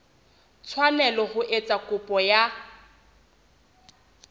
tshwanela ho etsa kopo ya